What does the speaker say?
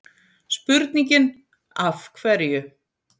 Spurningin Af hverju?